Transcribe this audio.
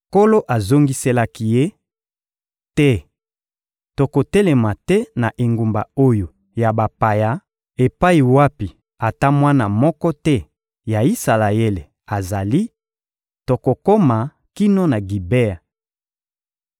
Nkolo azongiselaki ye: — Te, tokotelema te na engumba oyo ya bapaya, epai wapi ata mwana moko te ya Isalaele azali; tokokoma kino na Gibea.